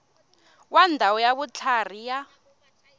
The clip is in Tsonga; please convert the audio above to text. wa ndhawu ya vutlhari ya